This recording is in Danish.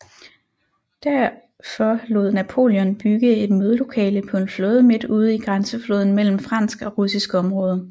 Derfor lod Napoleon bygge et mødelokale på en flåde midt ude i grænsefloden mellem fransk og russisk område